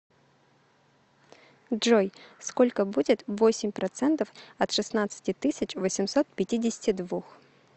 джой сколько будет восемь процентов от шестнадцати тысяч восемьсот пятидесяти двух